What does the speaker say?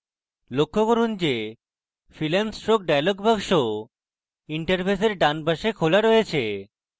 লক্ষ্য করুন যে fill and stroke dialog box interface ডান পাশে খোলা রয়েছে